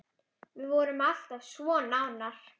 Við vorum alltaf svo nánar.